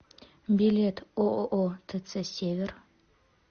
билет ооо тц север